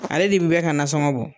Ale de be bɛ ka nasɔngɔ bɔ